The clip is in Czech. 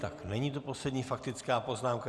Tak není to poslední faktická poznámka.